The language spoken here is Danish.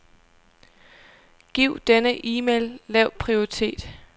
Giv denne e-mail lav prioritet.